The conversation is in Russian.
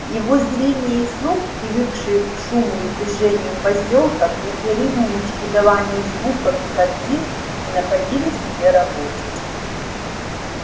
его зрение и слух привыкшие к шуму и движению посёлка к непрерывному чередованию звуков и картин не находили себе работы